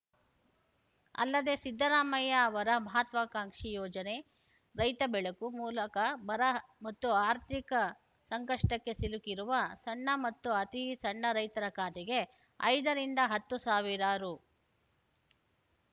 ಅಲ್ಲದೆ ಸಿದ್ದರಾಮಯ್ಯ ಅವರ ಮಹತ್ವಾಕಾಂಕ್ಷಿ ಯೋಜನೆ ರೈತ ಬೆಳಕು ಮೂಲಕ ಬರ ಮತ್ತು ಆರ್ಥಿಕ ಸಂಕಷ್ಟಕ್ಕೆ ಸಿಲುಕಿರುವ ಸಣ್ಣ ಮತ್ತು ಅತಿ ಸಣ್ಣ ರೈತರ ಖಾತೆಗೆ ಐದ ರಿಂದ ಹತ್ತು ಸಾವಿರ ರು